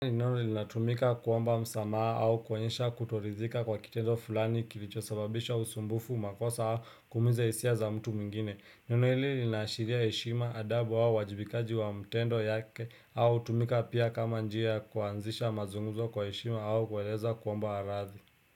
Neno hili linatumika kuomba msamaha au kuonyesha kutoridhika kwa kitendo fulani kilicho sababisha usumbufu makosa kuumiza hisia za mtu mwingine neno hili linaashiria heshima adabu au uwajibikaji wa matendo yake au hutumika pia kama njia kuanzisha mazunguzo kwa heshima au kueleza kuomba radhi.